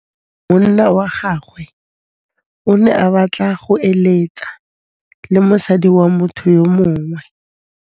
Monna wa gagwe o ne a batla go êlêtsa le mosadi wa motho yo mongwe.